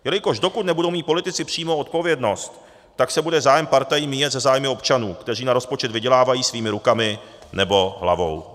Jelikož dokud nebudou mít politici přímou odpovědnost, tak se bude zájem partají míjet se zájmy občanů, kteří na rozpočet vydělávají svýma rukama nebo hlavou.